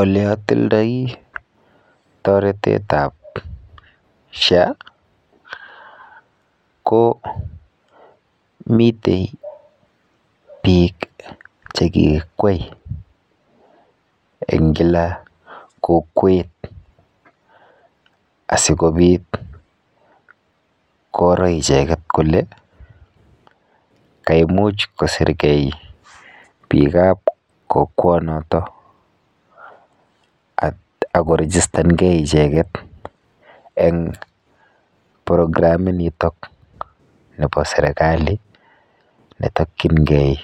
Oleotildoi toretet ab SHA ko mite biik chekikwai en kila kokwet asikobit koger icheget kole kaimuch kosirgee bikab kokwonoton, akorigistan gee icheget en programinitok nebo sergali netokyingen